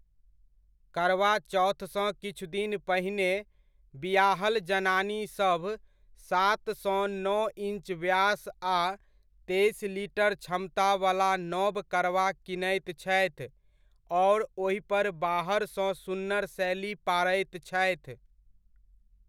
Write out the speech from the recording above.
करवा चौथसँ किछु दिन पहिने बिआहल जनानीसभ सात सँ नओ इन्च व्यास आ तेइस लीटर क्षमतावला नब करवा कीनैत छथि, आओर ओहिपर बाहरसँ सुन्नर शैली पारैत छथि।